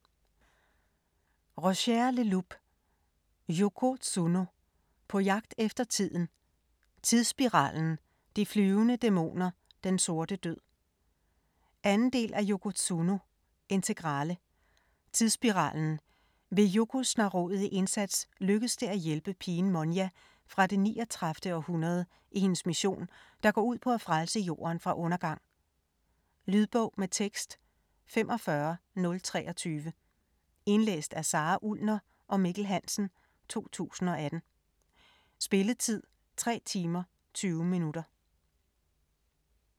Leloup, Roger: Yoko Tsuno - på jagt efter tiden: Tidsspiralen, De flyvende dæmoner, Den sorte død 2. del af Yoko Tsuno - integrale. Tidsspiralen: Ved Yokos snarrådige indsats lykkes det at hjælpe pigen Monya fra det 39. århundrede i hendes mission, der går ud på at frelse jorden fra undergang. Lydbog med tekst 45023 Indlæst af Sara Ullner og Mikkel Hansen, 2018. Spilletid: 3 timer, 20 minutter.